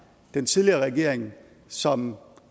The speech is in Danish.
den tidligere regering som